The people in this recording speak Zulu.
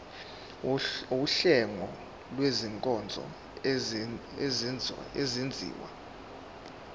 wuhlengo lwezinkonzo ezenziwa